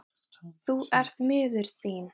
Sólveig Bergmann: Þú ert miður þín?